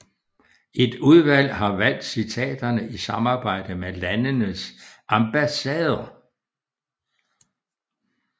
Et udvalg har valgt citaterne i samarbejde med landenes ambassader